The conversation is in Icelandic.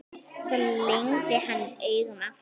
Svo lygndi hann augunum aftur.